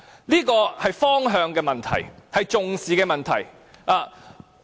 "這是方向的問題，是重視的問題。